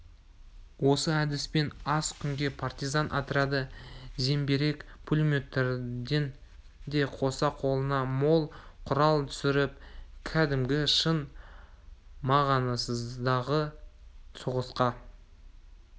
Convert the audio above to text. осы әдіспен аз күнде партизан отряды зеңбірек пулеметтерден де қоса қолына мол құрал түсіріп кәдімгі шын мағынасындағы соғысқа